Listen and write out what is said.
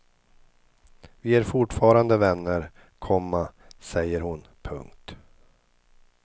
Vi är fortfarande vänner, komma säger hon. punkt